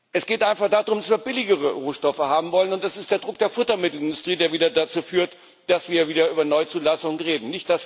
Es geht einfach darum, dass wir billigere Rohstoffe haben wollen, und das ist der Druck der Futtermittelindustrie, der wieder dazu führt, dass wir wieder über Neuzulassung reden.